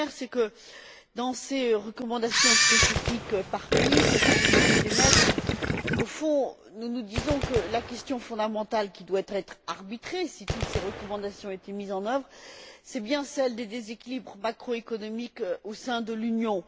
La première, c'est que, dans ces recommandations spécifiques par pays, que vous venez d'émettre, nous nous disons au fond que la question fondamentale qui devrait être arbitrée si toutes ces recommandations étaient mises en œuvre, c'est bien celle des déséquilibres macroéconomiques au sein de l'Union.